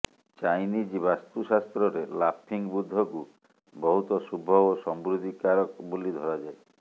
Chinese ବାସ୍ତୁଶାସ୍ତ୍ରରେ laughing ବୁଦ୍ଧକୁ ବହୁତ ଶୁଭ ଏବଂ ସମୃଦ୍ଧି କାରକ ବୋଲି ଧରାଯାଏ